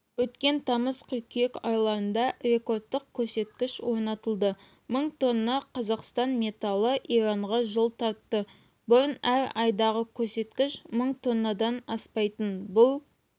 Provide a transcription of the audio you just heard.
өткен тамыз-қыркүйек айларында рекордтық көрсеткіш орнатылды мың тонна қазақстан металы иранға жол тартты бұрын әр айдағы көрсеткіш мың тоннадан аспайтын бұл